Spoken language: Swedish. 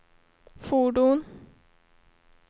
fordon